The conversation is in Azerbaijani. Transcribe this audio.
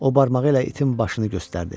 O barmağı ilə itin başını göstərdi.